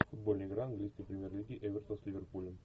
футбольная игра английской премьер лиги эвертон с ливерпулем